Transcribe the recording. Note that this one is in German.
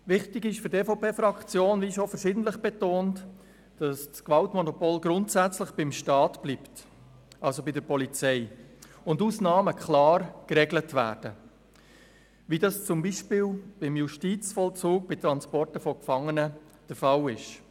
Wichtig ist für die EVP-Fraktion, wie schon verschiedentlich betont wurde, dass das Gewaltmonopol grundsätzlich beim Staat bleibt – also bei der Polizei – und Ausnahmen klar geregelt werden, wie dies zum Beispiel im Justizvollzug beim Transport von Gefangenen der Fall ist.